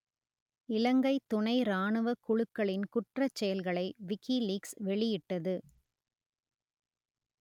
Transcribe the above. இலங்கைத் துணை ராணுவக் குழுக்களின் குற்றச்செயல்களை விக்கிலீக்ஸ் வெளியிட்டது